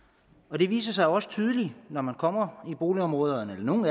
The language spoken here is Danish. det viser sig jo også tydeligt når man kommer i boligområderne at nogle